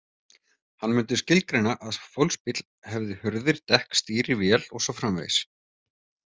Hann myndi skilgreina að fólksbíll hefði hurðir, dekk, stýri, vél og svo framvegis.